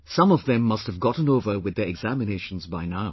Some of them must have gotten over with their examinations by now